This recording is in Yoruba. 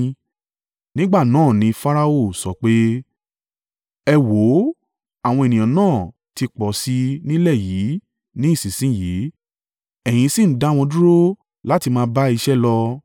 Nígbà náà ni Farao sọ pé, “Ẹ wò ó àwọn ènìyàn náà ti pọ̀ sí ì nílẹ̀ yìí ní ìsinsin yìí, ẹ̀yin sì ń dá wọn dúró láti máa bá iṣẹ́ lọ.”